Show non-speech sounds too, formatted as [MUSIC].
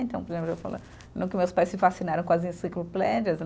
Então, [UNINTELLIGIBLE] no que meus pais se fascinaram com as enciclopédias